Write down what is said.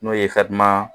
N'o ye